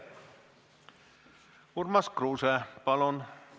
Urmas Kruuse, palun!